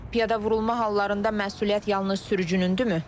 Piyada vurulma hallarında məsuliyyət yalnız sürücünündürmü?